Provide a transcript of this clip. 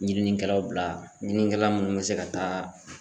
Ɲininikɛlaw bila ɲininikɛla munnu be se ka taa